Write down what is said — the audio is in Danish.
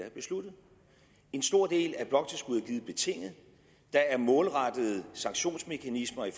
er besluttet en stor del af bloktilskuddet er givet betinget der er målrettede sanktionsmekanismer i